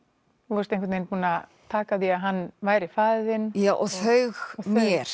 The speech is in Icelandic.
þú varst einhvern vegin búin að taka því að hann væri faðir þinn já og þau mér